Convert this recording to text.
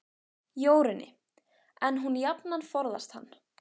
Jórunni, en hún jafnan forðast hann.